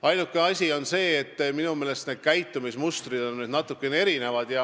Ainuke asi on see, et minu meelest on need käitumismustrid natukene erinevad.